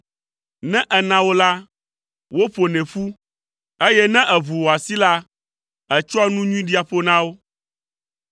Ne èna wo la, woƒonɛ ƒu; eye ne èʋu wò asi la, ètsɔa nu nyui ɖia ƒo na wo.